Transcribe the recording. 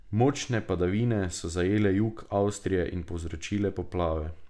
Močne padavine so zajele jug Avstrije in povzročile poplave.